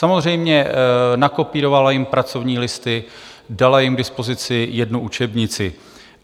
Samozřejmě, nakopírovala jim pracovní listy, dala jim k dispozici jednu učebnici.